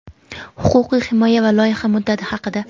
huquqiy himoya va loyiha muddati haqida.